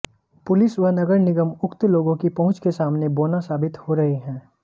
police व नगर निगम उक्त लोगो की पहुंच के सामने बौना साबित हो रहे हैं